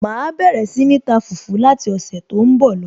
màá bẹ̀rẹ̀ sí ní ta fùfú láti ọ̀sẹ̀ tó ń bọ̀ lọ